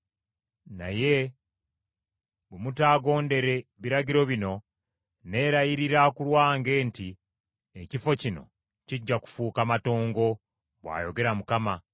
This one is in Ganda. ‘Naye bwe mutaagondere biragiro bino, nneelayirira ku lwange nti olubiri luno lulifuuka matongo,’ bw’ayogera Mukama .”